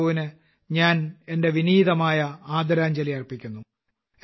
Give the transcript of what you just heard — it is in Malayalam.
രാമറാവുവിന് ഞാൻ എന്റെ വീനീതമായ ആദരാഞ്ജലി അർപ്പിക്കുന്നു